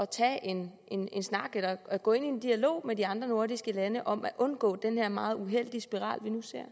tage en snak eller at gå ind i en dialog med de andre nordiske lande om at undgå den her meget uheldige spiral